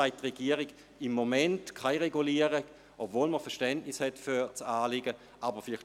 Deshalb sagt die Regierung, sie möchte im Moment keine Regulierung, obwohl man Verständnis für das Anliegen hat.